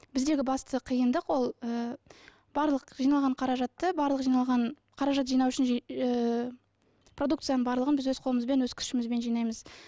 біздегі басты қиындық ол ы барлық жиналған қаражатты барлық жиналған қаражат жинау үшін ы продукцияның барлығын біз өз қолымызбен өз күшімізбен жинаймыз